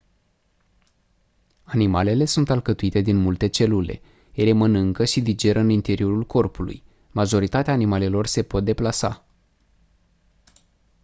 animalele sunt alcătuite din multe celule ele mănâncă și digeră în interiorul corpului majoritatea animalelor se pot deplasa